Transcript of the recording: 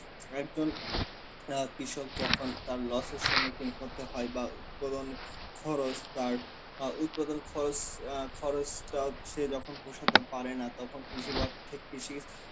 একজন অ্যাঁ কৃষক যখন তার loss এ সম্মুখীন হতে হয় বা উৎপাদনের খরচ তার আ উৎপাদন আ খরচ স্তব সে যখন পোষাতে পারে না তখন কৃষিবর থে~ কৃষি~